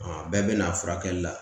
a bɛɛ bɛ na furakɛli la